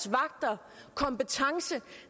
vagter kompetence